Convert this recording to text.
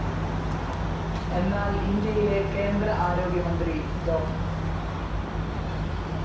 എന്നാൽ ഇന്ത്യയിലെ കേന്ദ്ര ആരോഗ്യമന്ത്രി ഡോ.